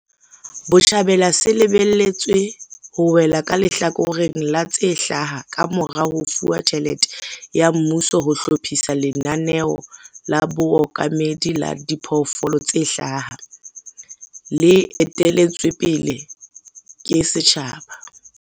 Botjhabela se lebelletswe ho wela ka lehlakoreng la tse hlaha kamora ho fuwa tjhelete ya mmuso ho hlophisa lenaneo la bookamedi la diphoofolo tse hlaha, le etelletswe pele ke setjhaba.